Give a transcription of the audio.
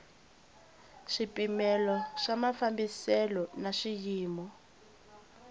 swipimelo swa mafambiselo na swiyimo